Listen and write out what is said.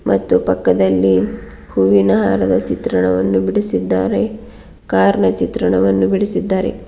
ಮತ್ತು ಪಕ್ಕದಲ್ಲಿ ಹೂವಿನ ಹಾರದ ಚಿತ್ರಣವನ್ನು ಬಿಡಿಸಿದ್ದಾರೆ ಕಾರ್ ಚಿತ್ರಣವನ್ನು ಬಿಡಿಸಿದ್ದಾರೆ.